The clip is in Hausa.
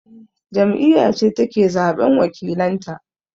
Jam'iyya ce take zaɓan wakilanta